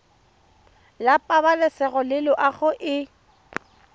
la pabalesego le loago e